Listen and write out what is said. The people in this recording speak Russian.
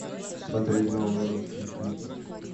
смотреть новые русские клипы